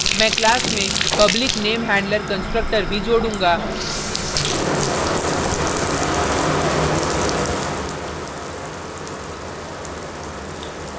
मैं class में public namehandler constructor भी जोडूँगा